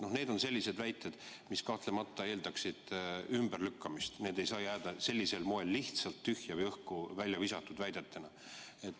Need on sellised väited, mis kahtlemata eeldavad ümberlükkamist, neid ei saa jätta sellisel moel lihtsalt tühjalt õhku visatuks.